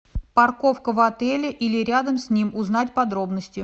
парковка в отеле или рядом с ним узнать подробности